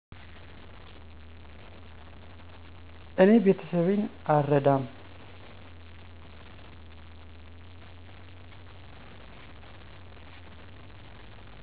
እኔ ቤተሰቤን አልረዳም።